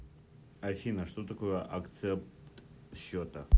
афина что такое акцепт счета